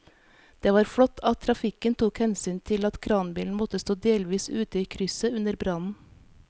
Det var flott at trafikken tok hensyn til at kranbilen måtte stå delvis ute i krysset under brannen.